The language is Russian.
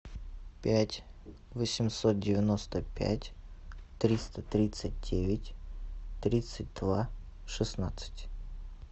пять восемьсот девяносто пять триста тридцать девять тридцать два шестнадцать